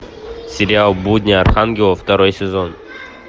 сериал будни архангела второй сезон